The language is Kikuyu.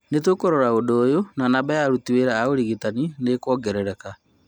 Nĩ tũkũrora na ũndũ ũyũ na namba ya aruti wĩra a ũrigitani nĩ ĩkuongerereka